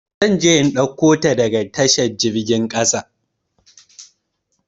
Zan je in ɗauko ta daga tashar jirgin kasa.